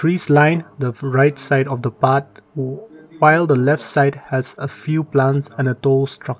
this line the right side of the path oh final the left side has a few plants and a those--